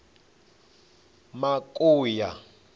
makuya